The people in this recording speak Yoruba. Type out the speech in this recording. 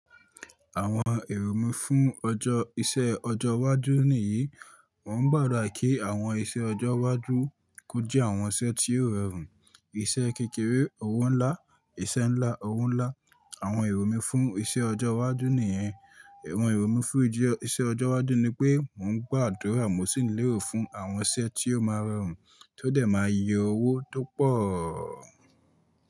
Àwọn èrò mi fún ọjọ́ iṣẹ́ ọjọ́ iwájú nìyí, mò ń gbàdúrà kí àwọn iṣẹ́ ọjọ́ iwájú kó jẹ́ àwọn iṣẹ́ tí yóò rọrùn, iṣẹ́ kékeré owó ńlá, iṣẹ́ ńlá owó ńlá. Àwọn èrò mi fún iṣẹ́ ọjọ́ iwájú nìyẹn. Awọ̀n èrò mi fún iṣẹ́ ọjọ́ iwájú ni pé mò ń gbàdúrà mo sì ń léro fún àwọn iṣẹ́ tí yóò máa rọrùn tí ó dẹ̀ máa yọ owó tó pọ̀.